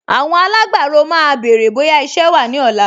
Àwọn alágbàro máa béèrè bóyá iṣẹ́ wà ní ọ̀la